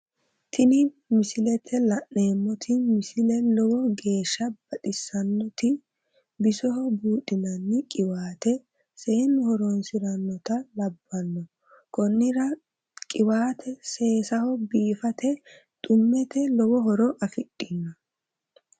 Tini misilete la'neemmoti misile lowo geeshsha baxissannoti bisoho buudhinanni qiwaate seennu horoonsi'rannota labbanno konnira qiwate seesaho biifate xummete lowo horo afidhino